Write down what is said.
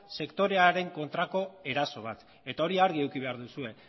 sektorearen kontrako eraso bat eta hori argi eduki behar duzue